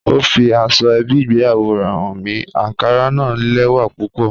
Ọ fí àsọ̀-èbí ìgbéyàwó rè háń mi, ànkárà na lẹ́wà púpọ̀